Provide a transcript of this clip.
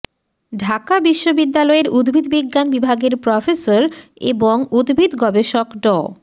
ঢাকা বিশ্ববিদ্যালয়ের উদ্ভিদবিজ্ঞান বিভাগের প্রফেসর এবং উদ্ভিদ গবেষক ড